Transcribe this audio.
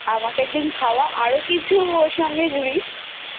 আমাকে একদিন খাওয়া আরো কিছু সঙ্গে জুরিস।